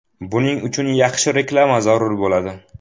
Buning uchun yaxshi reklama zarur bo‘ladi.